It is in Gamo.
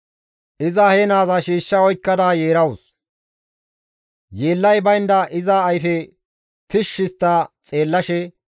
Iza he naaza shiishsha oykkada yeerawus; yeellay baynda iza ayfe tishshi histta xeellashe,